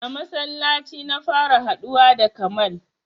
A masallaci na fara haɗuwa da kamal